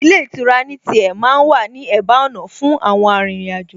Ilé ìtura ní tiẹ̀ ma ń wà ní ẹ̀bá ọ̀nà fún àwọn arìnrìn-àjò